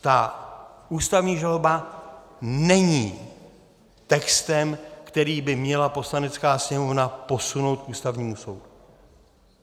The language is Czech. Ta ústavní žaloba není textem, který by měla Poslanecká sněmovna posunout k Ústavnímu soudu.